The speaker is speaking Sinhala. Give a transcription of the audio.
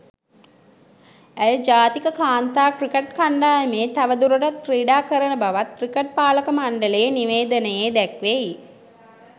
ඇය ජාතික කාන්තා ක්‍රිකට් කණ්ඩායමේ තව දුරටත් ක්‍රීඩා කරන බවත් ක්‍රිකට් පාලක මණ්ඩලයේ නිවේදනයේ දැක්වෙයි.